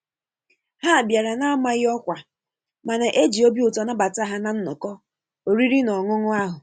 Ha bịara n'amaghị ọkwa mana e ji obi ụtọ nabata ha na nnọkọ oriri na ọṅụṅụ ahụ.